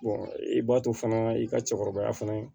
i b'a to fana i ka cɛkɔrɔba fana ye